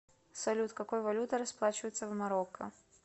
салют какой валютой расплачиваются в марокко